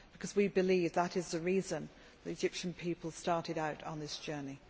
We believe that is the reason the Egyptian people started out on the journey.